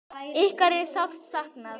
Ykkar er sárt saknað.